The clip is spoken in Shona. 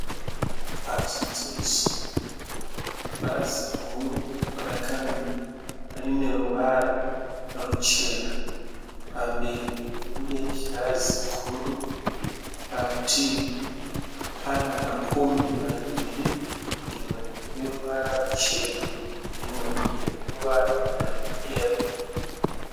Pachiteshi, bhazi guru rakamira rine ruvara ruchena. Pamberi rine girazi guru. Parutivi pane makombi maviri imwe ine ruvara ruchena imwe rweyero.